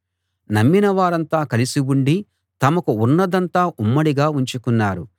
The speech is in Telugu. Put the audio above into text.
నమ్మినవారంతా కలిసి ఉండి తమకు ఉన్నదంతా ఉమ్మడిగా ఉంచుకున్నారు